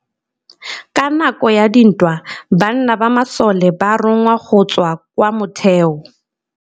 Ka nakô ya dintwa banna ba masole ba rongwa go tswa kwa mothêô.